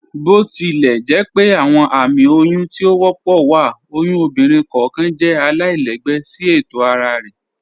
Botilẹjẹpẹ awọn ààmì oyún tí o wọ́pọ̀ wa, oyún ọ̀bìnrin kọọkan jẹ̀ àlàilẹ̀gbẹ̀ sí ètò ara rẹ.